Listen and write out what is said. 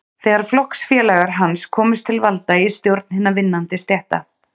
Þegar flokksfélagar hans komust til valda í stjórn hinna vinnandi stétta